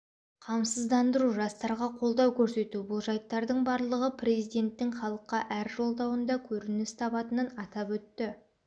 қамсыздандыру жастарға қолдау көрсету бұл жайттардың барлығы президенттің халыққа әр жолдауында көрініс табатынын атап өтті